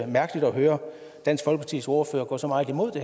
mærkeligt at høre dansk folkepartis ordfører gå så meget imod